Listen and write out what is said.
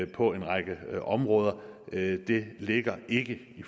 på en række områder det ligger ikke i